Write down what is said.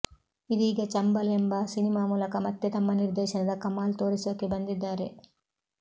ಇದೀಗ ಚಂಬಲ್ ಎಂಬ ಸಿನಿಮಾ ಮೂಲಕ ಮತ್ತೆ ತಮ್ಮ ನಿರ್ದೇಶನದ ಕಮಾಲ್ ತೋರಿಸೋಕೆ ಬಂದಿದ್ದಾರೆ